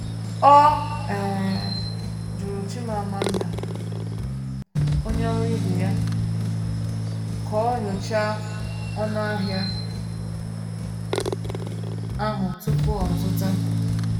Ọ um jụrụ Chimamanda, onye ọrụ ibe ya, ka ọ nyochaa ọnụahịa ahụ tupu o zụta.